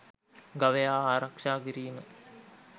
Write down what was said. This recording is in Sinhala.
ගවයා ආරක්ෂා කිරීම